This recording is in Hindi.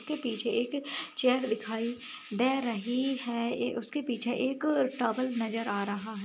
इसके पीछे एक चैर दिखाई दे रही है उसके पीछे एक टाउल नजर आ रहा है।